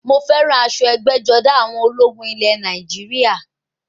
Mo fẹ́ràn aṣọ ẹgbẹ́-jọdá àwọn ológun ilẹ̀ Nàìjíríà.